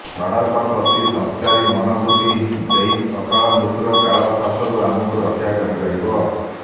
ସଡ଼କ ପ୍ରତି ସଂସ୍କାରୀ ମନୋବୃତ୍ତି ହିଁ ଏହି ଅକାଳ ମୃତ୍ୟୁର କାଳ ଫାଶରୁ ଆମକୁ ରକ୍ଷା କରିପାରିବ